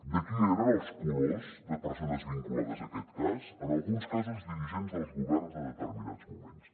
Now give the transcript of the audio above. de qui eren els colors de persones vinculades a aquest cas en alguns casos dirigents dels governs de determinats moments